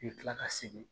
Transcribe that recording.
I bɛ kila ka segin